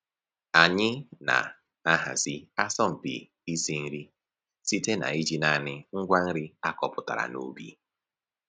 Anyị na-ahazi asọmpi isi nri site n'iji naanị ngwa nri a kọpụtara n'ubi